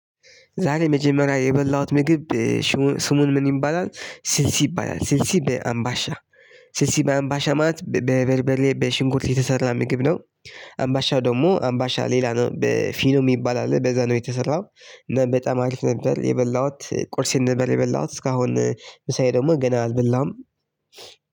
ዛሬ መጀመሪያ የበላሁት ምግብ ስሙን ምን? ይባላል ስልሲ ይባላል ስልሲ በአምባሻ ስልሲ በአምባሻ ማለት በበልበሌ በሽንኩልት የተሰራ ምግብ ነው። አምባሻው ደግሞ አምባሻ ሌላ ነው በፊኖ የሚባል አለ በዛ ነው የተሰራው። እና በጣም አሪፍ ነበር የበላሁት ቁርሴን ነበር የበላሁት እስካሁን ምሳዬ ደግሞ ገና አልብላሁም።